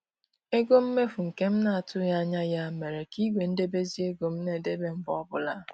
Ego mmefu nke m na-atụghị anya ya mere ka igwe idebezi ego m na-ebe mgbe ọbụla